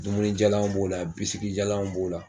Dumunijalan b'o la bisigijalan b'o la